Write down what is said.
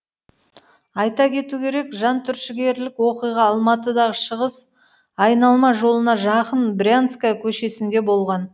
айта кету керек жантүршігерлік оқиға алматыдағы шығыс айналма жолына жақын брянская көшесінде болған